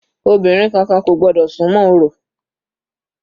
Obìnrin kankan kò gbọ́dọ̀ súnmọ́ orò.